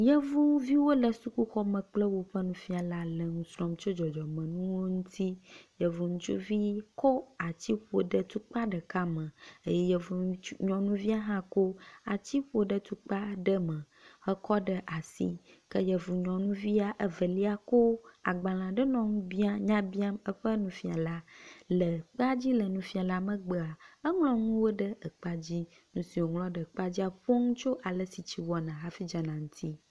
Yevuviwo le sukuxɔme kple woƒe nufiala le nusrɔ̃m tso dzɔdzɔmenuwo ŋuti. Yevu ŋutsuvi kɔ atsi ƒo ɖe tukpa ɖeka me eye ŋutsu nyɔnuvia hã kɔ atso ƒo ɖe tukpa ɖeka me hekɔ ɖe asi ke yevu nyɔnuvia evlia kɔ agbale aɖe nɔ ŋu biam nya biam eƒe nufiala. Le kpea dzi le nufiala megbea eŋlɔ nuwo ɖe ekpea dzi. Nu si wŋlɔ ɖe ekpea dzia nu ƒom tso ale si tsi wɔna hafi dzana la ŋuti.